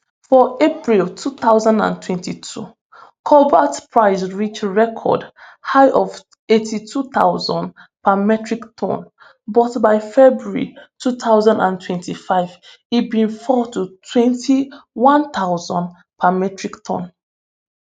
for april two thousand and twenty-two cobalt price reach record high of eighty-two thousand per metric ton but by february two thousand and twenty-five e bin fall to twenty-one thousand per metric ton